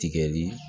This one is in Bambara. Tigɛli